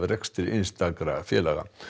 rekstur einstakra félaga